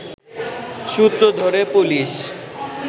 সূত্র ধরে পুলিশ